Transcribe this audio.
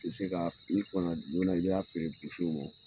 Ti se ka finin fanan joona , ne y'a feere ma